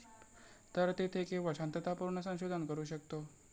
तर तेथे केवळ शांततापूर्ण संशोधन करू शकतो.